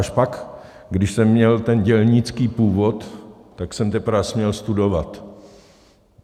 Až pak, když jsem měl ten dělnický původ, tak jsem teprve směl studovat.